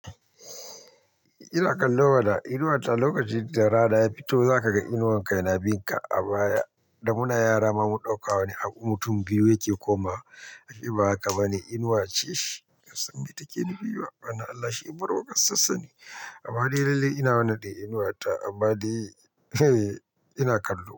Ina kallo bana, inuwa ta lokacin da rana ya fito za ka ga inuwan ka ina bin ka a baya, da muna yara ma mun ɗauka wani abu mutum biyu yake komawa, ashe ba haka bane inuwa ce shi, bansan me take nufi ba, ba na Allah shi murga sassane. Amma dai lalle ina wannan ɗin inuwa ta, amma dai ina kallo.